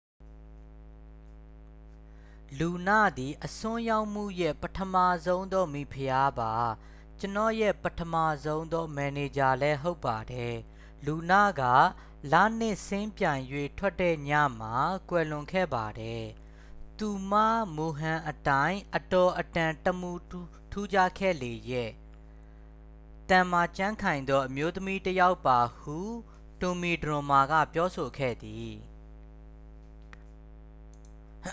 """လူန သည် အစွန်းရောက်မှုရဲ့ ပထမဆုံးသော မိဖုရားပါ။ ကျွန်တော့်ရဲ့ ပထမဆုံးသော မန်နေဂျာလည်း ဟုတ်ပါတယ်။lunaက လနှစ်စင်းပြိုင်၍ထွက်တဲ့ ညမှာ ကွယ်လွန်ခဲ့ပါတယ်။ သူမ မူဟန်အတိုင်း အတော်အတန်တမူထူးခြားခဲ့လေရဲ့။ သန်မာကြံ့ခိုင်သော အမျိုးသမီးတစ်ယောက်ပါ" ဟု တွန်မီဒရွန်းမား က ပြောဆိုခဲ့သည်။